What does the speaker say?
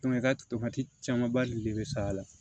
i ka tomati caman ba de bɛ sa a la